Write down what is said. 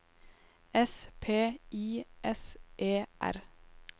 S P I S E R